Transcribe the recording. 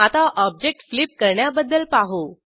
आता object flip करण्याबद्दल पाहू